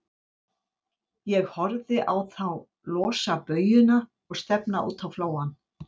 Ég horfði á þá losa baujuna og stefna út á flóann.